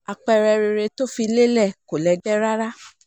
àpẹẹrẹ rere tó fi lélẹ̀ kò lẹ́gbẹ́ rárá